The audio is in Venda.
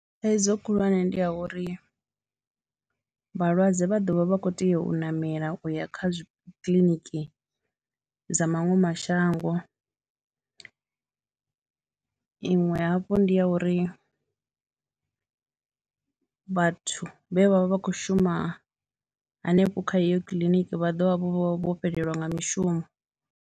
Thaidzo khulwane ndi ya uri vhalwadze vha ḓo vha vha khou tea u ṋamela u ya zwi, kha kiḽiniki dza maṅwe mashango, iṅwe hafhu ndi ya uri vhathu vhe vha vha vha khou shuma hanefho kha heyo kiḽiniki vha ḓo vha vho fhelelwa nga mishumo.